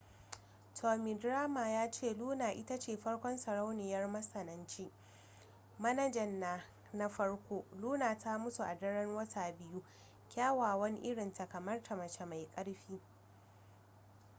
tommy dreamer ya ce luna ita ce farkon sarauniyar matsananci manajan na na farko luna ta mutu a daren wata biyu kyawawan irin ta kamar ta mace mai ƙarfi